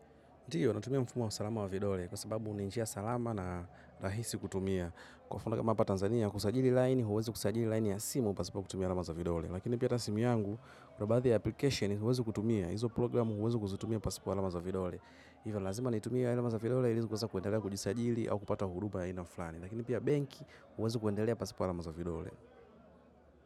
Ndiyo, natumia mfumo wa usalama wa vidole kwa sababu ni njia salama na rahisi kutumia. Kwa mfano kama hapa Tanzania, kusajili laini, huwezi kusajili laini ya simu, pasipo kutumia alama za vidole. Lakini pia hata simu yangu, kuna baadhi ya application, huwezi kutumia. Hizo programu huwezi kuzitumia pasipo alama za vidole. Ndio lazima nitumie alama za vidole ili kuweze kuendelea kujisajili au kupata huduma ya aina fulani. Lakini pia benki huwezi kuendelea pasipo alama za vidole.